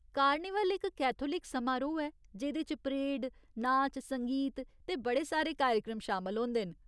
Carnival इक Catholic समारोह् ऐ जेह्दे च परेड, नाच, संगीत ते बड़े सारे कार्यक्रम शामल होंदे न।